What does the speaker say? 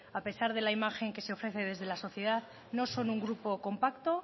a pesar de la imagen que se ofrece desde la sociedad no son un grupo compacto